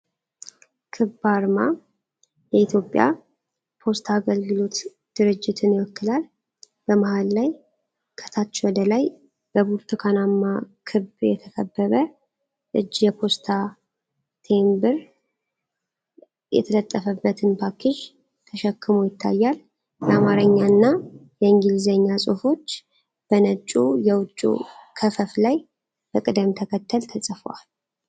ክብ አርማ የኢትዮጵያ ፖስታ አገልግሎት ድርጅትን ይወክላል። በመሃል ላይ ከታች ወደ ላይ በብርቱካናማ ክብ የተከበበ እጅ የፖስታ ቴምብር የተለጠፈበትን ፓኬጅ ተሸክሞ ይታያል። የአማርኛና የእንግሊዝኛ ጽሑፎች በነጭው የውጭ ክፈፍ ላይ በቅደም ተከተል ተጽፈዋል።